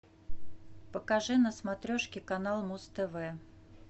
покажи на смотрешке канал муз тв